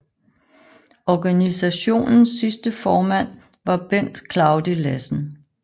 Organisationens sidste formand var Bent Claudi Lassen